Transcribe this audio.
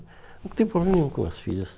Nunca teve problema nenhum com as filhas.